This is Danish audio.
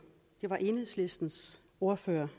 det var enhedslistens ordfører